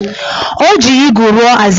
O ji igu rụọ azịza